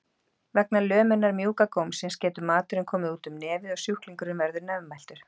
Vegna lömunar mjúka gómsins getur maturinn komið út um nefið og sjúklingurinn verður nefmæltur.